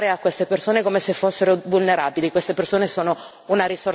Noi siamo abituati a pensare a queste persone come se fossero vulnerabili.